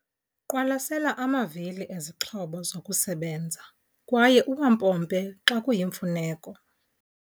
Qwalasela amavili ezixhobo zokusebenza kwaye uwampompe xa kuyimfuneko.